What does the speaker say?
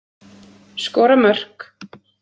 Skora mörk.